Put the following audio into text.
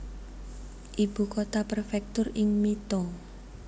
Ibu kota prefektur ing Mito